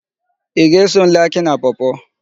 Ị ga-eso m lee Akị na Pọọ-pọọ?